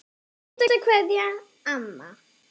HINSTA KVEÐJA Amma.